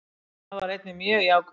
Það var einnig mjög jákvætt